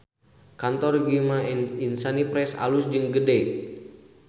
Kantor Gema Insani Press alus jeung gede